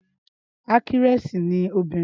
Ákítírẹ́sì ni obìnrin